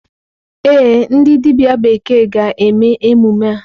Ee, ndị dibịa bekee ga-eme emume a.